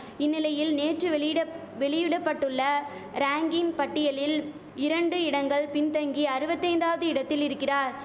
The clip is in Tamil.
இந்நிலையில் நேற்று வெளியிடப் வெளியிடபட்டுள்ள ரேங்கிங் பட்டியலில் இரண்டு இடங்கள் பின்தங்கி அருவத்தைந்தாவது இடத்தில் இரிக்கிறார்